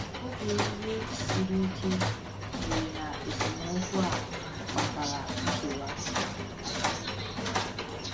“Oge iwe siri ike” mere, na esemokwu a kpatara nkewa.